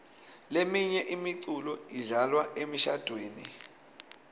leminye imiculo idlalwa emishadvweni